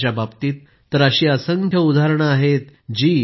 त्यांच्या बाबतीत तर अशी असंख्य उदाहरणं आहेत जी